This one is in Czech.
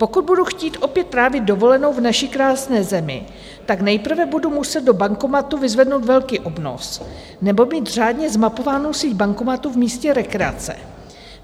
Pokud budu chtít opět trávit dovolenou v naší krásné zemi, tak nejprve budu muset do bankomatu vyzvednout velký obnos, nebo mít řádně zmapovánu síť bankomatů v místě rekreace.